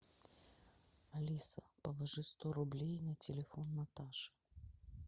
алиса положи сто рублей на телефон наташи